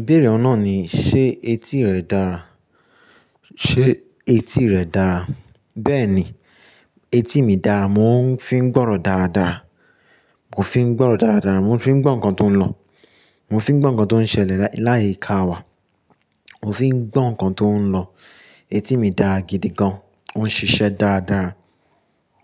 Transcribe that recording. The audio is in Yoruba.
Ìbéèrè ọ̀nà ni: ṣe etí rẹ dára? Ṣe etí rẹ dára? Bẹ́ẹ̀ ni, etí mi dára. Mo ń fi gbọ́rọ̀ dáradára. Mo fi ń gbọ́rọ̀ dáradára. Mo fi ń gbọ́ nǹkan tó ń lọ. Mo fi ń gbọ́ nǹkan tó ń ṣẹlẹ̀ láì ka wà. Mo fi ń gbọ́ nǹkan tó ń lọ. Etí mi dára gidi gan. Ó ń ṣiṣẹ́ dáradára.